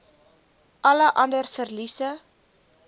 alle ander verliese